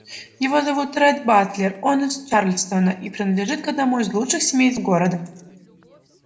его зовут ретт батлер он из чарльстона и принадлежит к одному из лучших семейств города